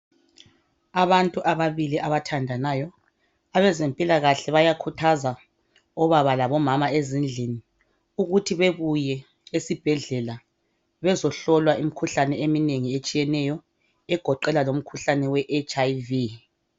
Abantu ababili abathandanayo abezempilakahle bayakhuthaza obaba labomama ezindlini ukuthi bebuye esibhedlela bezohlolwa imikhuhlane eminengi etshiyeneyo egoqela lomkhuhlane weHIV.